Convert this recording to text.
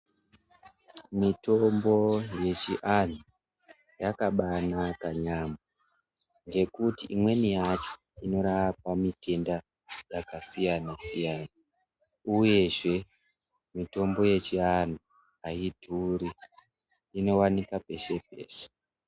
Mitombo yechiantu yakabanaka yambo ngekuti imwe yacho inorapa matenda akasiyana siyana uyezve mitombo yechiantu hayidhuri inowanikwa peshe peshe.